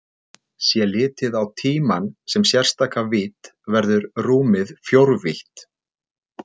Sé litið á tímann sem sérstaka vídd verður rúmið fjórvítt.